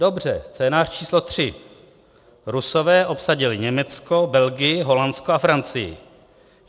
"Dobře, scénář číslo 3. Rusové obsadili Německo, Belgii, Holandsko a Francii.